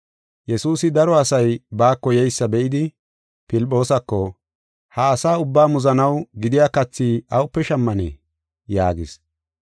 Yesuusi daro asay baako yeysa be7idi Filphoosako, “Ha asaa ubbaa muzanaw gidiya kathi awupe shammanee?” yaagis.